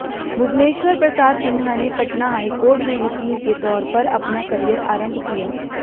भुवनेश्वर प्रसाद सिन्हा ने पटना हाईकोर्ट में वकील के तौर पर अपना करियर आरंभ किया